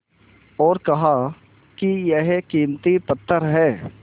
और कहा कि यह कीमती पत्थर है